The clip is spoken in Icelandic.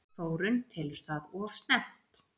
Þórunn telur það of snemmt.